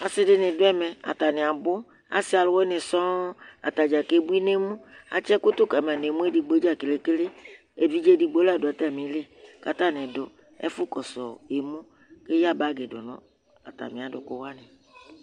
asi di ni do ɛmɛ atani abò asi alòwini sɔnŋ atadza ke bui n'emu atsi ɛkò to kama n'emu edigbo dza kele kele evidze edigbo la do atami li k'atani do ɛfu kɔsu emu k'eya bag do no atami adòku wani